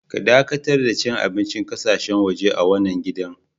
Ka dakatar da cin abincin ƙasashen waje a wanan gidan.